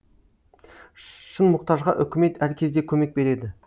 шын мұқтажға үкімет әр кезде көмек береді